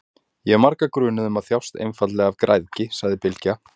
Ég hef marga grunaða um að þjást einfaldlega af græðgi, sagði Bylgja.